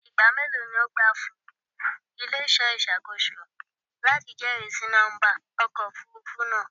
Igba melo ni o gba fun ile-iṣọ iṣakoso lati jẹrisi nọmba ọkọ ofurufu naa?